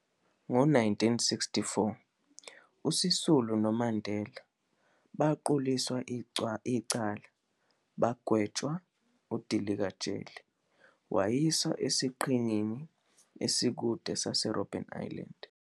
Ngo-1964, uSisulu noMandela baquliswa icala bagwetshwa udilika-jele wayiswa esiqhingini esikude saseRobben Island.